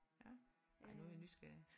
Ja ej nu er jeg nysgerrig